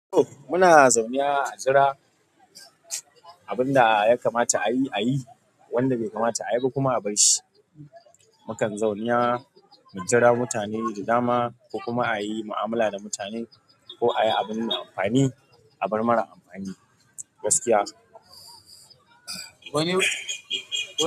Muna zaune a jira abin da ya kamata ayi, a yi wanda bai kamata a yi ba kuma a barshi. Mu kan zauniya mu jira mutane da dama, ko kuma a yi mu'amala da mutane ko a yi abun amfani, abar mara amfani gaskiya.